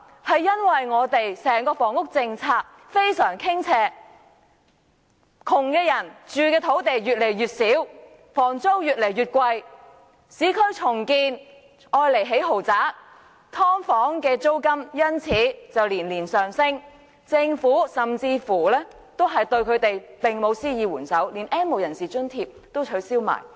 是因為香港整體的房屋政策傾斜，窮人的居住面積越來越小，房租越來越貴，市區重建項目只興建豪宅，"劏房"的租金連年上升，但政府並沒有對貧困者施以援手，連 "N 無人士"的津貼都取消。